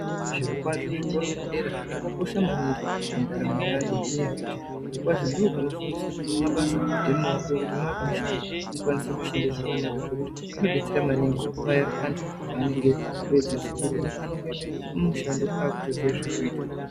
Zvirokwazvo, zvikora zvedera zvakakosha maningi mundaramo yevantu, ngenyaya yekuti zvirokwazvo ndiko kunofundiswe mabasa emaoko, kuti mwaakumushando mukwanise kushande zvakanaka, zvokuti zvinodetsera maningi kuti paya antu paanenge apedza chikoro anongoende kumushando akutoziya zvokuita.